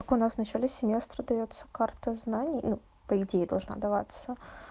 так у нас вначале семестра даётся карта знаний ну по идее должна даваться